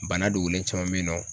Bana dogolen caman be yen nɔ